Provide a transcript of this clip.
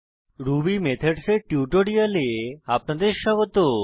Ruby methods এর টিউটোরিয়ালে আপনাদের স্বাগত